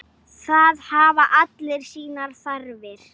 Allir fóru þeir með bátnum.